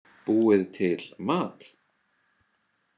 Búið til mat?